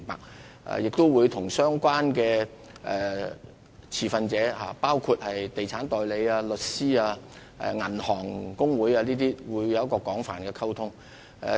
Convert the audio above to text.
政府亦會與相關持份者，包括地產代理、律師和銀行公會等保持廣泛的溝通。